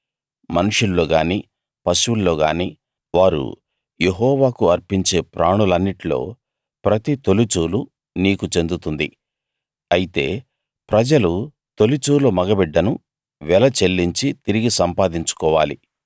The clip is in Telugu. మనుష్యుల్లోగాని పశువుల్లోగాని వారు యెహోవాకు అర్పించే ప్రాణులన్నిట్లో ప్రతి తొలిచూలు నీకు చెందుతుంది అయితే ప్రజలు తొలిచూలు మగబిడ్డను వెల చెల్లించి తిరిగి సంపాదించుకోవాలి